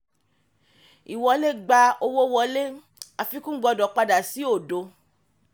ìwọlé gba owó wọlé; àfikún gbọdọ̀ padà sí òdo.